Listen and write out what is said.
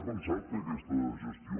ha pensat fer aquesta gestió